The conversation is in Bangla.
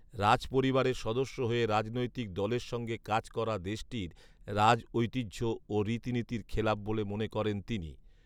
রাজপরিবারের সদস্য হয়ে রাজনৈতিক দলের সঙ্গে কাজ করা দেশটির রাজঐতিহ্য ও রীতি নীতির খেলাপ বলে মনে করেন তিনি